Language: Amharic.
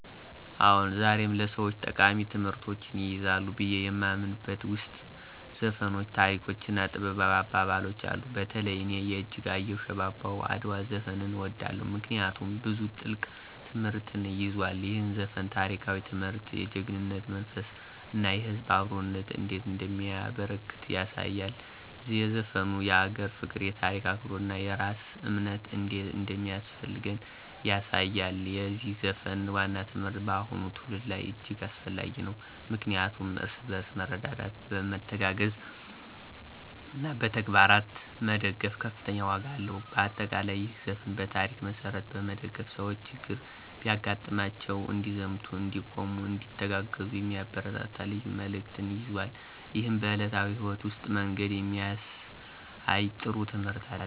አዎን፣ ዛሬም ለሰወች ጠቃሚ ትምህርቶችን ይይዛሉ ብዬ የማምንበት ውስጥ ዘፈኖች፣ ታሪኮች እና ጥበባዊ አባባሎች አሉ። በተለይ እኔ የእጅጋየሁ “ሽባባው አድዋ” ዘፈንን እወደዋለሁ፤ ምክንያቱም ብዙ ጥልቅ ትምህርትን ይዟል። ይህ ዘፈን ታሪካዊ ትምህርት፣ የጀግናነት መንፈስ እና የህዝብ አብሮነት እንዴት እንደሚያበረከት ያሳያል። ዘፈኑ የአገር ፍቅር፣ የታሪክ አክብሮት እና የራስ እምነት እንዴት እንደሚያስፈልገን ያሳያል። የዚህ ዘፈን ዋና ትምህርት በአሁኑ ትውልድ ላይ እጅግ አስፈላጊ ነው፣ ምክንያቱም እርስ በርስ መረዳዳት፣ መተጋገዝ እና በተግባር መደገፍ ከፍተኛ ዋጋ አለው። በአጠቃላይ፣ ይህ ዘፈን በታሪክ መሠረት በመደገፍ ሰዎች ችግር ቢያጋጥማቸው እንዲዘምቱ፣ እንዲቆሙ፣ እንዲተጋገዙ የሚያበረታታ ልዩ መልዕክትን ይዟል። ይህም በዕለታዊ ሕይወት ውስጥ መንገድ የሚያሳይ ጥሩ ትምህርት አለው።